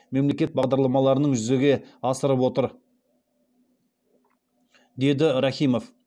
мемлекеттік бағдарламаларының жүзеге асырып отыр деді рахимов